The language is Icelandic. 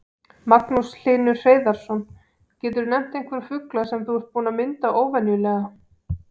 Magnús Hlynur Hreiðarsson: Geturðu nefnt einhverja fugla sem þú ert búinn að mynda óvenjulega?